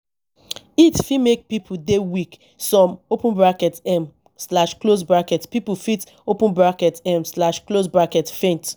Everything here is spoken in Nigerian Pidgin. heat fit make pipo dey weak some um pipo fit um faint